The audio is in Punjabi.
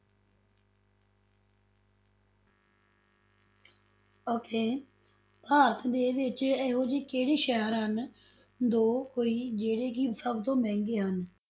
Okay ਭਾਰਤ ਦੇ ਵਿੱਚ ਇਹੋ ਜਿਹੀ ਕਿਹੜੇ ਸ਼ਹਿਰ ਹਨ, ਦੋ ਕੋਈ ਜਿਹੜੇ ਕਿ ਸਭ ਤੋਂ ਮਹਿੰਗੇ ਹਨ?